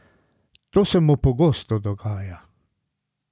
To se mu pogosto dogaja.